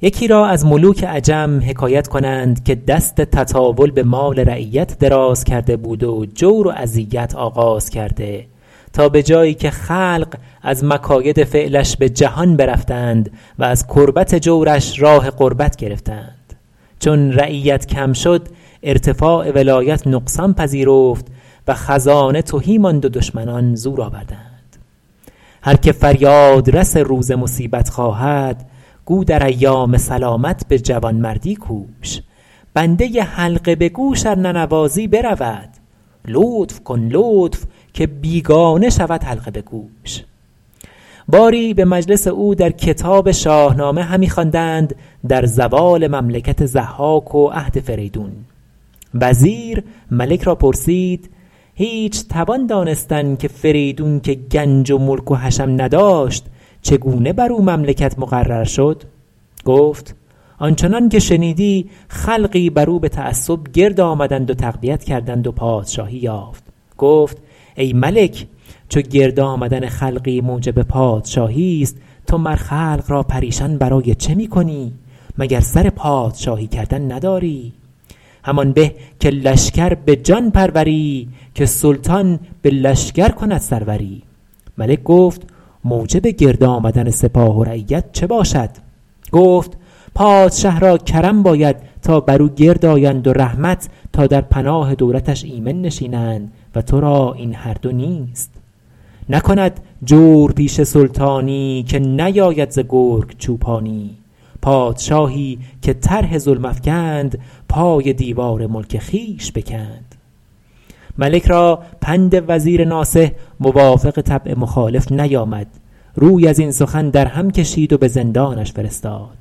یکی را از ملوک عجم حکایت کنند که دست تطاول به مال رعیت دراز کرده بود و جور و اذیت آغاز کرده تا به جایی که خلق از مکاید فعلش به جهان برفتند و از کربت جورش راه غربت گرفتند چون رعیت کم شد ارتفاع ولایت نقصان پذیرفت و خزانه تهی ماند و دشمنان زور آوردند هر که فریاد رس روز مصیبت خواهد گو در ایام سلامت به جوانمردی کوش بنده حلقه به گوش ار ننوازی برود لطف کن لطف که بیگانه شود حلقه به گوش باری به مجلس او در کتاب شاهنامه همی خواندند در زوال مملکت ضحاک و عهد فریدون وزیر ملک را پرسید هیچ توان دانستن که فریدون که گنج و ملک و حشم نداشت چگونه بر او مملکت مقرر شد گفت آن چنان که شنیدی خلقی بر او به تعصب گرد آمدند و تقویت کردند و پادشاهی یافت گفت ای ملک چو گرد آمدن خلقی موجب پادشاهیست تو مر خلق را پریشان برای چه می کنی مگر سر پادشاهی کردن نداری همان به که لشکر به جان پروری که سلطان به لشکر کند سروری ملک گفت موجب گرد آمدن سپاه و رعیت چه باشد گفت پادشه را کرم باید تا بر او گرد آیند و رحمت تا در پناه دولتش ایمن نشینند و ترا این هر دو نیست نکند جورپیشه سلطانی که نیاید ز گرگ چوپانی پادشاهی که طرح ظلم افکند پای دیوار ملک خویش بکند ملک را پند وزیر ناصح موافق طبع مخالف نیامد روی از این سخن در هم کشید و به زندانش فرستاد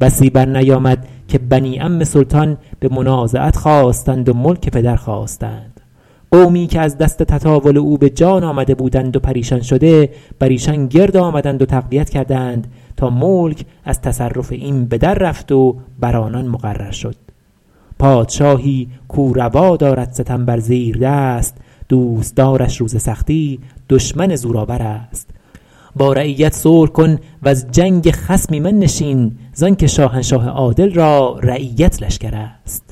بسی بر نیامد که بنی عم سلطان به منازعت خاستند و ملک پدر خواستند قومی که از دست تطاول او به جان آمده بودند و پریشان شده بر ایشان گرد آمدند و تقویت کردند تا ملک از تصرف این به در رفت و بر آنان مقرر شد پادشاهی کاو روا دارد ستم بر زیردست دوستدارش روز سختی دشمن زورآورست با رعیت صلح کن وز جنگ خصم ایمن نشین زان که شاهنشاه عادل را رعیت لشکرست